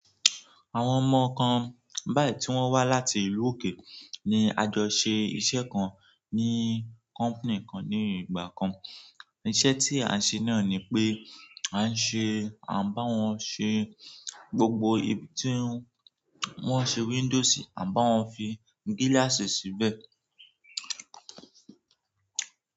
Àwọn ọmọ kan báyìí tí wọ́n wá láti ìlú òkè ni a jọ ṣe iṣẹ́ kan ní company kan ní ìgbà kan. Iṣẹ́ tí a ṣe náà ni pé a ṣe, à ń bá wọn ṣe gbogbo ibi tí wọ́n ṣe window si, à ń bá wọn fi gíláàsì síbẹ̀.